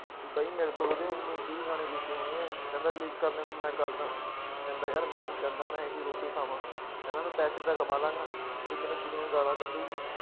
ਵੀ ਬਾਈ ਮੇਰੇ ਕੋਲ ਉਹਦੇ ਉੱਨੀ ਵੀਹ ਗਾਣੇ ਲਿਖੇ ਹੋਏ ਹੈ ਕਹਿੰਦਾ leak ਕਰਨ ਨੂੰ ਮੈਂ ਕਰਦਾਂ ਕਹਿੰਦਾ ਯਾਰ ਮੈਂ ਨੀ ਚਾਹੁੰਦਾ ਮੈਂ ਇਹ ਜਿਹੀ ਰੋਟੀ ਖਾਵਾਂ ਕਹਿੰਦਾ ਮੈਂ ਪੈਸੇ ਤਾਂ ਕਮਾ ਲਵਾਂਗਾ ਵੀ ਮੈਨੂੰ ਦੁਨੀਆਂ ਗਾਲਾਂ ਕੱਢੇਗੀ।